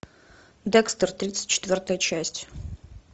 декстер тридцать четвертая часть